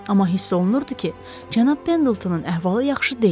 Amma hiss olunurdu ki, cənab Pendeltonun əhvalı yaxşı deyil.